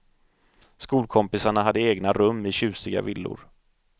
Skolkompisarna hade egna rum i tjusiga villor.